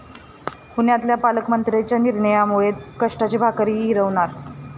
पुण्यातल्या पालकमंत्र्यांच्या निर्णयामुळे 'कष्टाची भाकर'ही हिरावणार?